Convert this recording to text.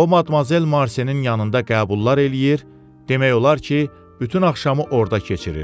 o Madmazel Marsenin yanında qəbullar eləyir, demək olar ki, bütün axşamı orada keçirir.